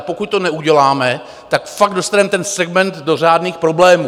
A pokud to neuděláme, tak fakt dostaneme ten segment do řádných problémů.